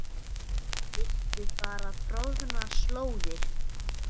Viltu fara troðnar slóðir?